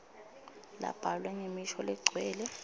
labhalwe ngemisho legcwele